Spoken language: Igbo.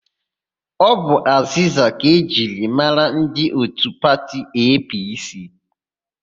Ọ bụ azịza ka e ji mara ndị òtù pati EePiiSii.